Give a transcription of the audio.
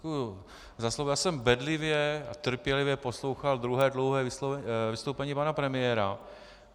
Já jsem bedlivě a trpělivě poslouchal druhé dlouhé vystoupení pana premiéra.